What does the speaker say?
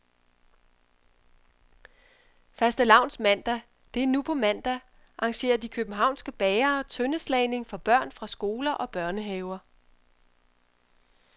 Fastelavnsmandag, det er nu på mandag, arrangerer de københavnske bagere tøndeslagning for børn fra skoler og børnehaver.